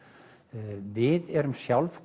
við erum sjálf